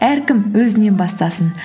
әркім өзінен бастасын